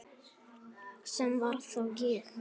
Sem var þá ég.